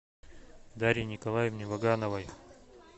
дарье николаевне вагановой